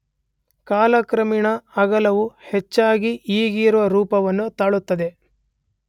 ಕಾಲಕ್ರಮೇಣ ಅಗಲವು ಹೆಚ್ಚಾಗಿ ಈಗಿರುವ ರೂಪವನ್ನು ತಾಳುತ್ತದೆ.